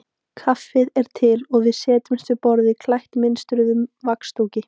Kaffið er til og við setjumst við borð klætt mynstruðum vaxdúk.